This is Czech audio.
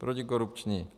Protikorupční.